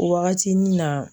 O wagati ni na